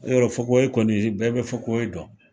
Yarɔ fokohoye kɔni bɛɛ bɛ fokohoye dɔn